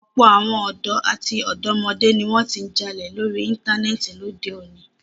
Ọ̀pọ̀ àwọn ọ̀dọ́ àti ọ̀dọ́mọdé ni wọn ti ń jalè lórí Íńtánẹ́ẹ̀tì lóde òní.